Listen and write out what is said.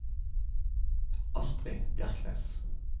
Astri Bjerknes